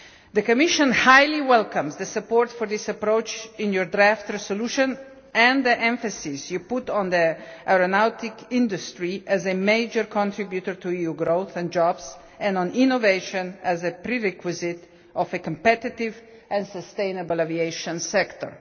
The Commission warmly welcomes the support for this approach in Parliament's draft resolution and the emphasis put on the aeronautics industry as a major contributor to EU growth and jobs, and on innovation as a prerequisite of a competitive and sustainable aviation sector.